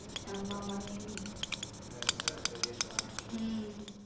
ஆமா ஆமா உம்